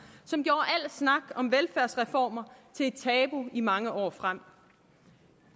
som gjorde al snak om velfærdsreformer til et tabu i mange år frem